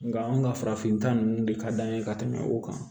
Nka anw ka farafinta ninnu de ka d'an ye ka tɛmɛ o kan